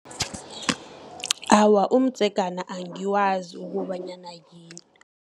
Awa, umdzegana, angiwazi ukobanyana yini.